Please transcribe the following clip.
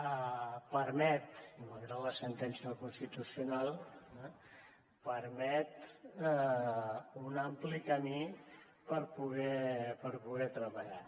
permet malgrat la sentència del constitucional un ampli camí per poder treballar